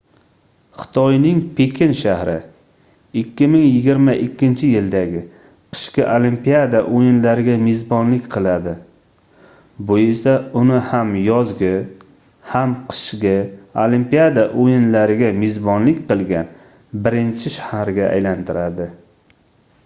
xotiyning pekin shahri 2022-yildagi qishki olimpiada oʻyinlariga mezbonlik qiladi bu esa uni ham yozgi ham qishki olimpiada oʻyinlariga mezbonlik qilgan birinchi shaharga aylantiradi